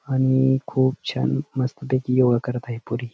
आणि खूप छान मस्त पैकी योग करत आहे पोरी.